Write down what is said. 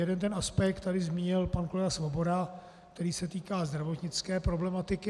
Jeden ten aspekt tady zmínil pan kolega Svoboda, který se týká zdravotnické problematiky.